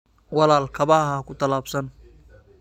Walaal kabaha ha ku talaabsan.